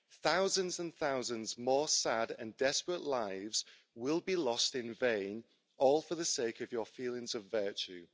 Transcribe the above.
thousands and thousands more sad and desperate lives will be lost in vain, all for the sake of your feelings of virtue.